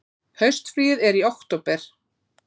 Haustfríið er í október.